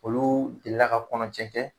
Olu delila ka kɔnɔ